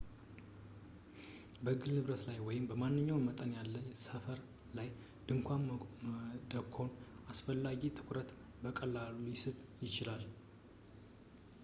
በግል ንብረት ላይ ወይም ማንኛውም መጠን ያለው ሰፈር ላይ ድንኳን መደኮን አላስፈላጊ ትኩረትን በቀላሉ ሊስብ ይችላል